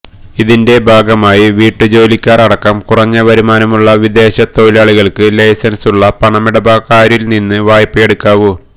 ഇതിന്റെ ഭാഗമായി വീട്ടുജോലിക്കാർ അടക്കം കുറഞ്ഞ വരുമാനമുള്ള വിദേശ തൊഴിലാളികൾക്ക് ലൈസൻസുള്ള പണമിടപാടുകാരിൽ നിന്ന് വായ്പ്പയെടുക്കാവു